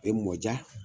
E mɔ diya